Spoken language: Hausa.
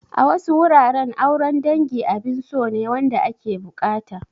A wasu wuraren, auren dangi abin so ne wanda ake buƙata.